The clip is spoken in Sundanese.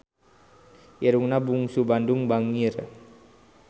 Irungna Bungsu Bandung bangir